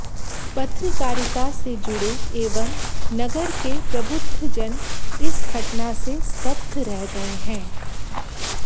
पत्रकारिता से जुड़े एवं नगर के प्रबुद्ध जन इस घटना से स्तब्ध रह गए हैं